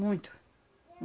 Muito.